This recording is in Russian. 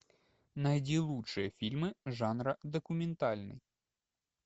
найди лучшие фильмы жанра документальный